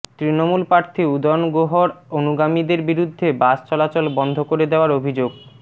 তৃণমূল প্রার্থী উদয়ন গুহর অনুগামীদের বিরুদ্ধে বাস চলাচল বন্ধ করে দেওয়ার অভিযোগ